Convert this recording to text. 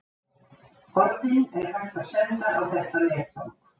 Orðin er hægt að senda á þetta netfang.